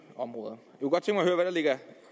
områder